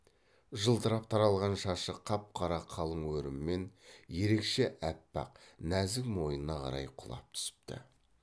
жылтырап таралған шашы қап қара қалың өріммен ерекше аппақ нәзік мойнына қарай құлап түсіпті